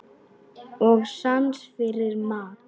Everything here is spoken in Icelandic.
Og sans fyrir mat.